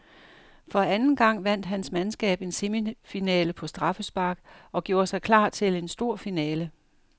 For anden gang vandt hans mandskab en semifinale på straffespark og gjorde sig klar til en stor finale.